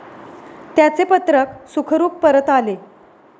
त्याचे पत्रक सुखरूप परत आले.